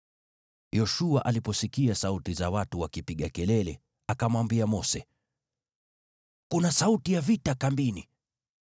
Yoshua aliposikia sauti za watu wakipiga kelele, akamwambia Mose, “Kuna sauti ya vita kambini.”